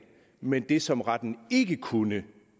men af det som retten ikke kunne